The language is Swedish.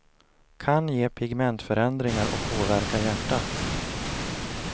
Kan ge pigmentförändringar och påverka hjärtat.